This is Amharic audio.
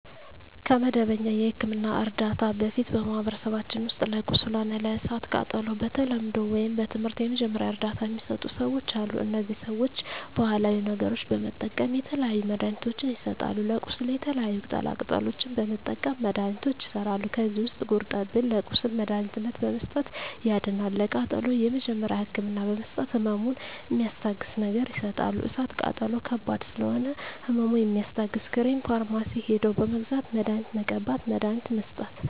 ከመደበኛ የሕክምና ዕርዳታ በፊት በማኀበረሰባችን ውስጥ ለቁስል ሆነ ለእሳት ቃጠሎው በተለምዶው ወይም በትምህርት የመጀመሪያ እርዳታ ሚሰጡ ሰዎች አሉ እነዚህ ሰዎች ባሀላዊ ነገሮች በመጠቀም የተለያዩ መድሀኒትችን ይሰጣሉ ለቁስል የተለያዩ ቅጠላ ቅጠሎችን በመጠቀም መድሀኒቶች ይሠራሉ ከዚህ ውስጥ ጉርጠብን ለቁስል መድሀኒትነት በመስጠት ያድናል ለቃጠሎ የመጀመሪያ ህክምና በመስጠት ህመሙን ሚስታግስ ነገር ይሰጣሉ እሳት ቃጠሎ ከባድ ስለሆነ ህመሙ የሚያስታግስ ክሬም ፈርማሲ ሄደው በመግዛት መድሀኒት መቀባት መድሀኒት መስጠት